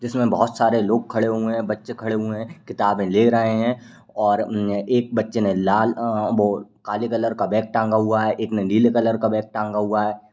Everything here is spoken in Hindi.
जिसमें बहुत सारे लोग खड़े हुए हैं। बच्चे खड़े हुए हैं। किताबें ले रहे हैं और उम् एक बच्चे ने लाल अह वो काले कलर का बैग टांगा हुआ है। एक ने नीले कलर का बैग टांगा हुआ है।